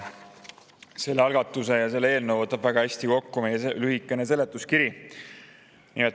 Selle algatuse, eelnõu võtab väga hästi kokku meie lühike seletuskiri.